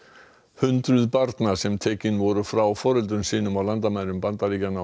hundruð barna sem tekin voru frá foreldrum sínum á landamærum Bandaríkjanna og